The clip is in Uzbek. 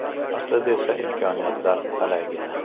Aslida esa imkoniyatlar talaygina.